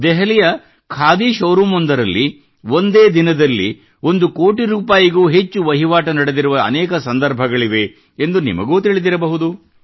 ದೆಹಲಿಯ ಖಾದಿ ಶೋರೂಮ್ ನಲ್ಲಿ ಒಂದೇ ದಿನದಲ್ಲಿ ಒಂದು ಕೋಟಿಗೂ ಹೆಚ್ಚು ವ್ಯಾಪಾರ ನಡೆದಿರುವ ಅನೇಕ ಸಂದರ್ಭಗಳಿವೆ ಎಂದು ನಿಮಗೂ ತಿಳಿದಿರಬಹುದು